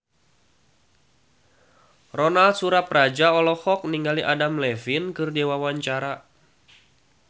Ronal Surapradja olohok ningali Adam Levine keur diwawancara